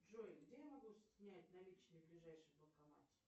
джой где я могу снять наличные в ближайшем банкомате